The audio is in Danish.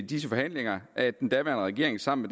de forhandlinger at den daværende regering sammen